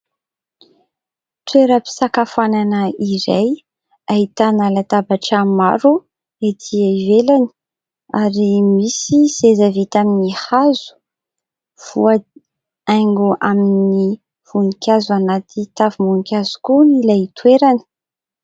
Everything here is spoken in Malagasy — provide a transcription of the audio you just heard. Toeram-pisakafoanana iray ahitana latabatra maro ety ivelany ary misy seza vita amin'ny hazo. Voahaingo amin'ny voninkazo ao anaty tavim-boninkazo koa ilay toerana.